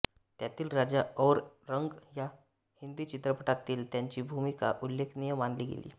त्यातील राजा और रंक या हिंदी चित्रपटातील त्यांची भूमिका उल्लेखनीय मानली गेली